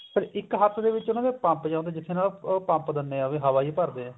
ਇੱਕ ਹੱਥ ਦੇ ਵਿੱਚ ਉਹਨਾ ਦੇ ਪੰਪ ਜਾ ਹੁੰਦਾ ਜਿੱਥੇ ਉਹਨਾ ਦਾ ਪੰਪ ਦਿੰਨੇ ਆਂ ਹਵਾ ਜੀ ਭਰਦੇ ਆ